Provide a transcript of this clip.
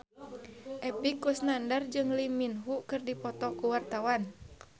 Epy Kusnandar jeung Lee Min Ho keur dipoto ku wartawan